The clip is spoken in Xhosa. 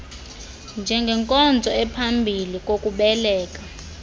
njengenkonzo ephambi kokubeleka